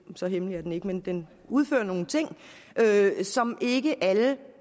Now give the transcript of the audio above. så hemmelig er den ikke men den udfører nogle ting som ikke alle